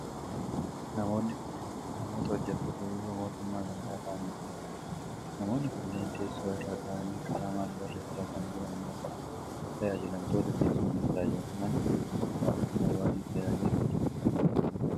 Namoonni kunneen namoota hojjattoota biiroo mootummaa gandaa ta'anii dha. Namoonni kunneen teessoo irra ta'anii qalamaan barreessaa kan jiran yoo ta'u, tajaajilamtoota keessummeessaa jiru. Manni hojii gandaa bakka hawaasni tajaajila hedduu itti argatuu dha.